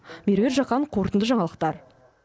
меруерт жақан қорытынды жаңалықтар